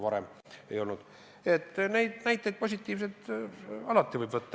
Positiivseid näiteid võib alati leida.